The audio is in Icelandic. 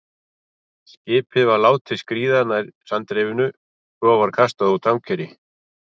Skipið var látið skríða nær sandrifinu, svo var kastað út ankeri.